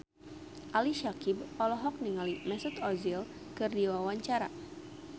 Ali Syakieb olohok ningali Mesut Ozil keur diwawancara